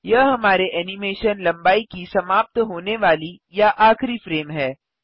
यह हमारे एनिमेशन लंबाई की समाप्त होने वाली या आखिरी फ्रेम है